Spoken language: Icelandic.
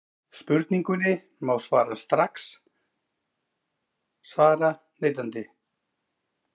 Spurningunni má strax svara neitandi.